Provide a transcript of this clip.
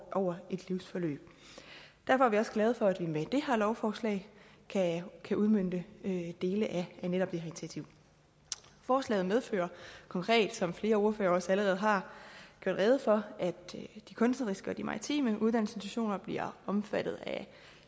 over et livsforløb derfor er vi også glade for at vi med det her lovforslag kan kan udmønte dele af netop det initiativ forslaget medfører konkret som flere ordførere også allerede har gjort rede for at de kunstneriske og de maritime uddannelsesinstitutioner bliver omfattet af